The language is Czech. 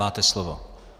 Máte slovo.